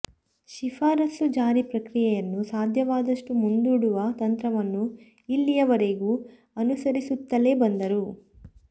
ಶಿಫಾರಸು ಜಾರಿ ಪ್ರಕ್ರಿಯೆಯನ್ನು ಸಾಧ್ಯವಾದಷ್ಟು ಮುಂದೂಡುವ ತಂತ್ರವನ್ನು ಇಲ್ಲಿಯ ವರೆಗೂ ಅನುಸರಿಸುತ್ತಲೇ ಬಂದರು